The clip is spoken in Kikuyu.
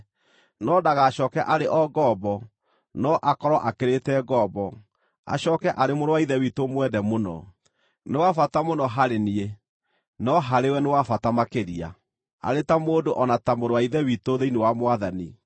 no ndagacooke arĩ o ngombo, no akorwo akĩrĩte ngombo, acooke arĩ mũrũ wa Ithe witũ mwende mũno. Nĩ wa bata mũno harĩ niĩ, no harĩwe nĩ wa bata makĩria, arĩ ta mũndũ o na ta mũrũ wa Ithe witũ thĩinĩ wa Mwathani.